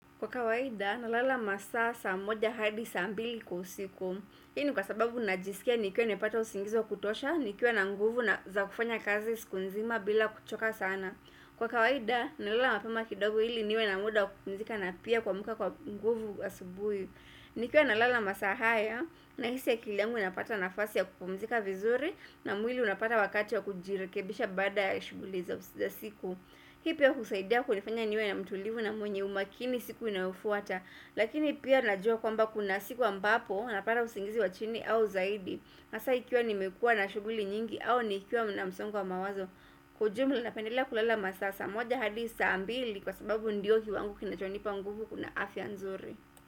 Kwa kawaida, nalala masaa saa moja hadi saa mbili kwa usiku. Hii ni kwa sababu najisikia nikiwa nimepata usingizi wa kutosha, nikiwa na nguvu na za kufanya kazi siku nzima bila kuchoka sana. Kwa kawaida, nalala mapema kidogo ili niwe na muda kupumzika na pia kuamuka kwa nguvu asubuhi. Nikiwa nalala masaa haya, na hisi ya akili yangu inapata nafasi ya kupumzika vizuri na mwili unapata wakati wa kujirekebisha baada ya shughuli za usi za siku. Hii pia hunisaidia kunifanya niwe na mtulivu na mwenye umakini siku inayofuata Lakini pia najua kwamba kuna siku ambapo na pata usingizi wa chini au zaidi hasa ikiwa nimekuwa na shughuli nyingi au nikiwa na msongo wa mawazo Kwa ujumula napendela kulala masaa saa moja hadi saa mbili kwa sababu ndiyo ki wango kinachonipa nguvu na afya nzuri.